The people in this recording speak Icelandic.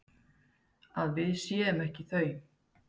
Að við séum ekki þau.